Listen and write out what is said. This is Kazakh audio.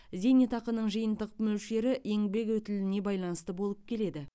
зейнетақының жиынтық мөлшері еңбек өтіліне байланысты болып келеді